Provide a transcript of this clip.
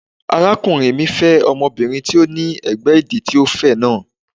Arákùnrin mi fẹ́ ọmọbìnrin tí ó ní ẹ̀gbẹ́ ìdí tí ó fẹ̀ náà.